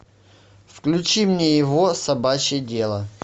включи мне его собачье дело